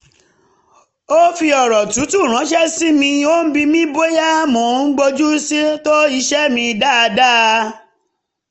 ó fi ọ̀rọ̀ tútù ránṣẹ́ sí mi ó ń bi mi bóyá mo ń bójú tó iṣẹ́ mi dáadáa